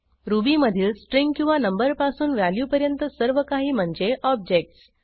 रुबीमधील स्ट्रिंग किंवा नंबर पासून व्हॅल्यूपर्यंत सर्व काही म्हणजे ऑब्जेक्ट्स